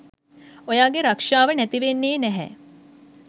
ඔයාගේ රක්ෂාව නැතිවෙන්නේ නැහැ